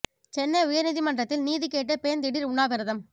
சென்னை உயர் நீதிமன்றத்தில் நீதி கேட்டு பெண் திடீர் உண்ணாவிரதம்